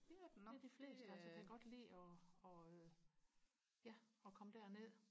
det de fleste altså kan godt lide og og og komme derned